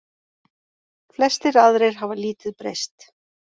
Flestir aðrir hafa lítið breyst.